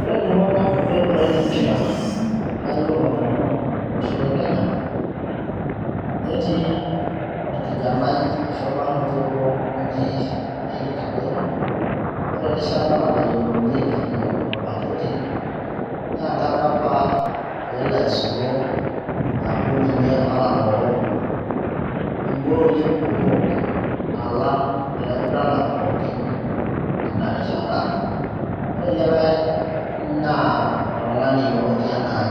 ore iltung'anak oiguran empira layiolo nanu tolosho le kenya netii orkijanai ashu orbarnoti oji Erick kapaito ore erishata natayiolounyieki ilo barnoti naa enkata apa peelo aisulu aaku ninye otang'oro ingooli kumok alang ilaiguranak pookin tina rishata ore likay naa oltung'ani yioloti enaa